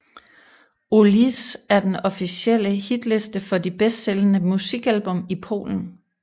OLiS er den officielle hitliste for de bedst sælgende musikalbum i Polen